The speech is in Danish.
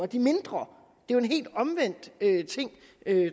de mindre det er jo en helt omvendt ting